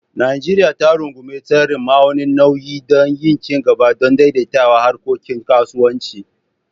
Najeriya za ta rungumi tsarin ma'aunin nauyi da na ci gaba don daidaita harkokin kasuwanci.